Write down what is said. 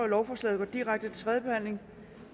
lovforslaget går direkte til tredje behandling